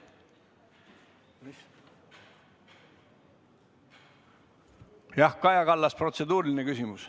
Jah, Kaja Kallas, protseduuriline küsimus.